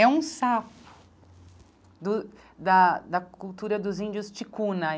É um sapo do da da cultura dos índios Tikuna.